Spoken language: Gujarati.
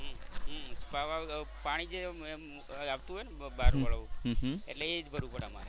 હમ્મ હમ્મ પાણી જે આવતું હોય ને એટલે એ જ ભરવું પડે અમારે.